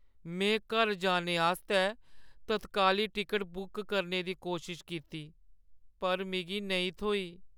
में घर जाने आस्तै तत्काली टिकट बुक करने दी कोशश कीती पर मिगी नेईं थ्होई।